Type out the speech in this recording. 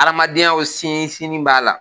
Adamadenya o siɲi siɲiw b'a la.